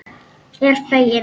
Er fegin.